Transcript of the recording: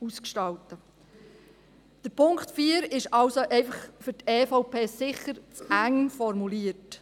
Der Punkt 4 ist also für die EVP sicher zu eng formuliert.